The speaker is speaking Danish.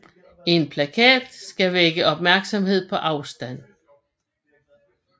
En plakat skal vække opmærksomhed på afstand